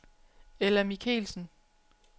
Ella Michaelsen